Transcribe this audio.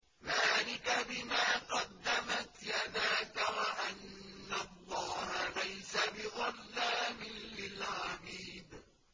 ذَٰلِكَ بِمَا قَدَّمَتْ يَدَاكَ وَأَنَّ اللَّهَ لَيْسَ بِظَلَّامٍ لِّلْعَبِيدِ